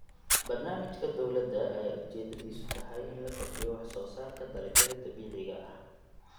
Barnaamijka dowladda ayaa ujeedadiisu tahay in la kordhiyo wax soo saarka dalagyada dabiiciga ah.